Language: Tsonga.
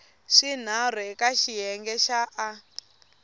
swinharhu eka xiyenge xa a